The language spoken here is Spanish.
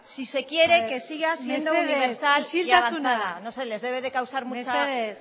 si se quiere que siga siendo universal mesedez isiltasuna no sé les debe de causar mucha